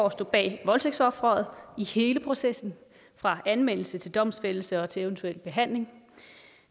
at stå bag voldtægtsofferet i hele processen fra anmeldelse til domsfældelse og til eventuel behandling